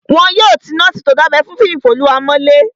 Wọn yóò ti nọ́ọ̀sì tó dábẹ́ fún Fiyinfoluwa mọ́lé